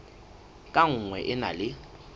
ka nngwe e na le